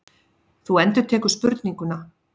Þú endurtekur spurninguna.